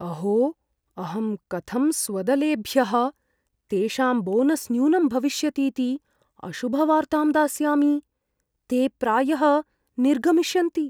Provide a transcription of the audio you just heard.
अहो, अहं कथं स्वदलेभ्यः तेषां बोनस् न्यूनं भविष्यतीति अशुभवार्तां दास्यामि? ते प्रायः निर्गमिष्यन्ति।